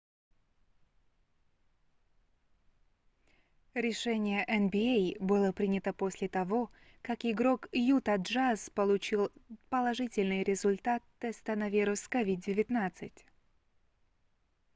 решение nba было принято после того как игрок юта джаз получил положительный результат теста на вирус covid-19